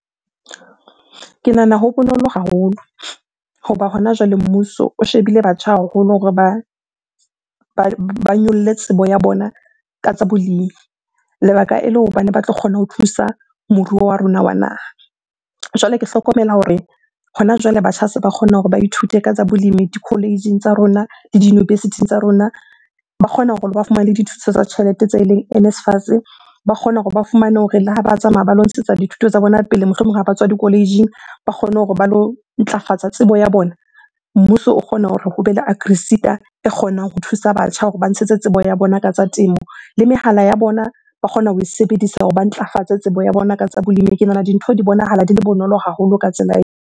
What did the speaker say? Ke nahana ho bonolo haholo hoba hona jwale mmuso o shebile batjha haholo hore ba nyolle tsebo ya bona ka tsa bolemi. Lebaka ele hobane ba tlo kgone ho thusa moruo wa rona wa naha. Jwale ke hlokomela hore hona jwale batjha se ba kgona hore ba ithute ka tsa bolemi di-college-ing tsa rona le di-university-ing tsa rona. Ba kgona hore ba fumane dithuso tsa tjhelete tse eleng NSFAS. Ba kgona hore ba fumane hore le ha ba tsamaya ba lo ntshetsa dithuto tsa bona pele, mohlomong ha ba tswa di-college-ing. Ba kgone hore ba lo ntlafatsa tsebo ya bona, mmuso o kgona hore hobe le Agriseta e kgonang ho thusa batjha hore ba ntshetse tsebo ya bona ka tsa temo. Le mehala ya bona ba kgona ho e sebedisa hore ba ntlafatse tsebo ya bona ka tsa bolemi. Ke nahana dintho di bonahala di le bonolo haholo ka tsela .